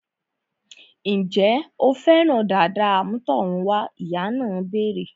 Ǹjẹ́ o fẹ́ràn dàda àmútọ̀runwá? Ìyá náà béèrè